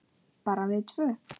Bara við tvö?